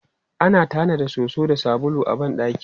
Ana tanada soso da sabulu a ban ɗaki.